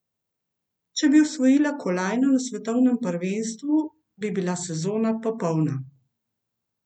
Če bi osvojila kolajno na svetovnem prvenstvu, bi bila sezona popolna.